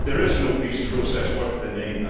There is no peace process worth the name.